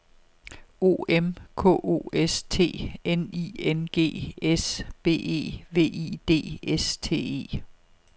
O M K O S T N I N G S B E V I D S T E